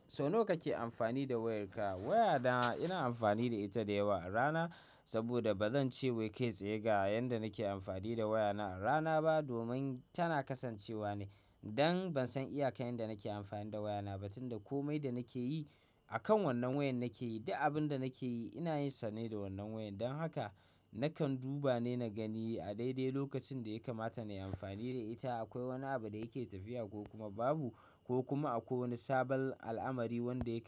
Sau nawa kake amfani da wayarka? Wayana ina amfani da ita da yawa a rana saboda ba zan ce wai kai tsaye ga yanda nake amfani da wayana a rana ba domin tana kasancewa ne. Dan ban san iyaka yanda nake amfani da wayana ba, tunda komai da nake yi akan wannan wayan nake yi, duk abin da nake yi ina yin sa ne da wannan wayar. Don haka nakan duba ne na gani a daidai lokacin da ya kamata na yi amfani da ita. Akwai wani abu da yake tafiya ko kuma babu ko kuma akwai wani sabon al'amari wanda yake.